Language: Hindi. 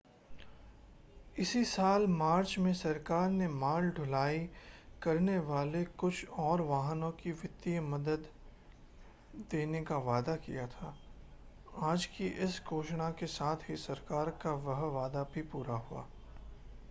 इसी साल मार्च में सरकार ने माल ढुलाई करने वाले कुछ और वाहनों को वित्तीय मदद देने का वादा किया था आज की इस घोषणा के साथ ही सरकार का वह वादा भी पूरा हुआ